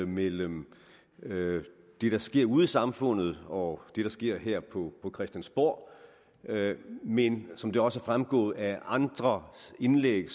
mellem det der sker ude i samfundet og det der sker her på christiansborg men som det også er fremgået af andre indlæg